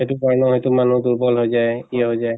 সেইটো কাৰণেও হয়্তু মানুহ দুৰ্বল হৈ যায়, ই হৈ যায়